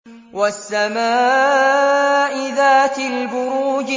وَالسَّمَاءِ ذَاتِ الْبُرُوجِ